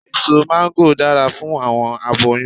Eso máńgòrò dara fun awọn aboyun